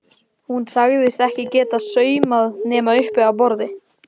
Hún sagðist ekki geta saumað nema uppi á borði.